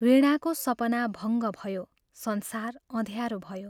वीणाको सपना भङ्ग भयो संसार अँध्यारो भयो।